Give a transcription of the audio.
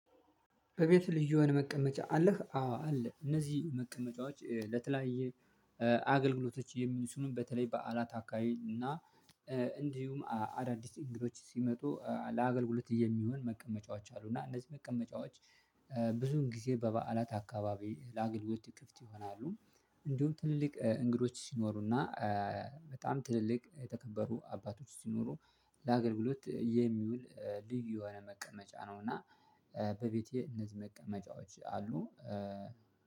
በቤትህ ልዩ የሆነ መቀመጫ አለህ? አዎ አለ። እነዚህ መቀመጫዎች ለተለያየ አገልግሎቶች የሚችሉን በተለይ በዓላት አካባቢ እና እንዲሁም አዳዲስ እንግዶች ሲመጡ ለአገልግሎት የሚሆን መቀመጫዎች አሉ እና እነዚህ መቀመጫዎች ብዙን ጊዜ በበዓላት አካባቢ ለአገልግሎት ክፍት ይሆናሉ። እንዲሁም ትልልቅ እንግዶች ሲኖሩና በጣም ትልልቅ የተከበሩ አባቶች ሲኖሩ ለአገልግሎት የሚውል ልዩ የሆነ መቀመጫ ነው እና በቤቴ እነዚህ መቀመጫዎች አሉ